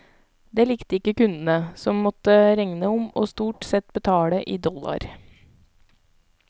Det likte ikke kundene, som måtte regne om og stort sett betalte i dollar.